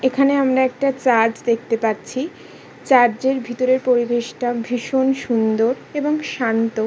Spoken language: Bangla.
এখানে আমরা একটা চার্জ দেখতে পাচ্ছি। চার্জের ভিতরে পরিবেশটা ভীষণ সুন্দর এবং শান্ত।